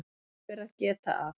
Þess ber að geta að